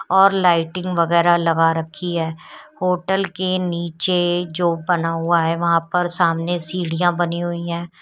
और लाइटिंग वगैरह लगा रखी है होटल के नीचे जो बना हुआ है वहां पर सामने सीढ़ियां बनी हुई हैं।